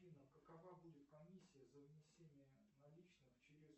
афина какова будет комиссия за внесение наличных через